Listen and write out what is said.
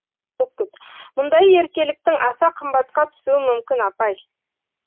мұндай еркеліктің аса қымбатқа түсуі мүмкін апай